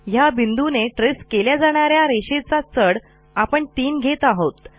ह्या बिंदूने traceकेल्या जाणा या रेषेचा चढस्लोप आपण तीन घेत आहोत